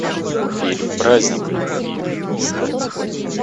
фильм праздник любви искать